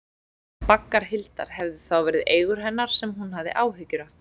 Baggar Hildar hefðu þá verið eigur hennar sem hún hafði áhyggjur af.